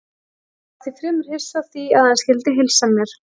Ég var því fremur hissa á því að hann skyldi heilsa mér.